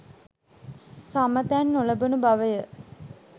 සම තැන් නොලැබුණු බව ය.